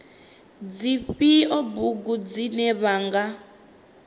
dzifhio bugu dzine vha nga